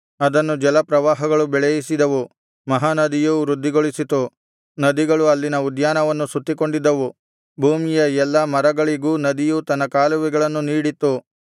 ಅದನ್ನು ಜಲಪ್ರವಾಹಗಳು ಬೆಳೆಯಿಸಿದವು ಮಹಾನದಿಯು ವೃದ್ಧಿಗೊಳಿಸಿತು ನದಿಗಳು ಅಲ್ಲಿನ ಉದ್ಯಾನವನ್ನು ಸುತ್ತಿಕೊಂಡಿದ್ದವು ಭೂಮಿಯ ಎಲ್ಲಾ ಮರಗಳಿಗೂ ನದಿಯು ತನ್ನ ಕಾಲುವೆಗಳನ್ನು ನೀಡಿತ್ತು